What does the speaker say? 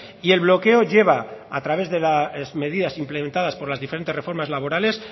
y el bloqueo lleva a través de las medidas implementadas por las diferentes reformas laborales